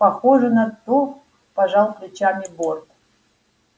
похоже на то пожал плечами борт